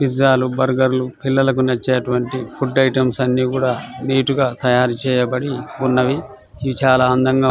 pizza లు burger లు ఉన్నాయ్ పిల్లలకు నచ్చేటువంటి ఫుడ్ ఐటమ్స్ అన్ని కూడా నీట్ గ తయారు చేయబడి ఉన్నవి ఇవి చాల అందంగా --